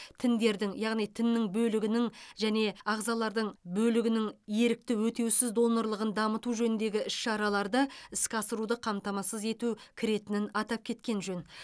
тіндердің яғни тіннің бөлігінің және ағзалардың бөлігінің ерікті өтеусіз донорлығын дамыту жөніндегі іс шараларды іске асыруды қамтамасыз ету кіретінін атап кеткен жөн